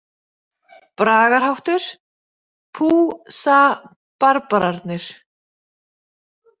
Bragarhátttur: „Pú Sa- barbararnir“.